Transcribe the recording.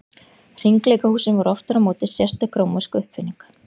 Hringleikahúsin voru aftur á móti sérstök rómversk uppfinning.